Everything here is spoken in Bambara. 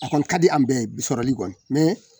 A kɔni ka di an bɛɛ sɔrɔli kɔni